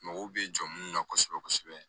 Mɔgɔw bɛ jɔ minnu na kosɛbɛ kosɛbɛ